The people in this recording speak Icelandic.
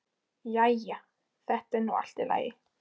Jæja, þetta er nú allt í lagi.